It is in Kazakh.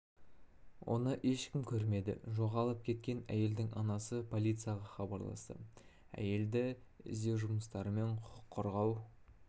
бері оны ешкім көрмеді жоғалып кеткен әйелдің анасы полицияға хабарласты әйелді іздеу жұмыстарымен құқық қорғау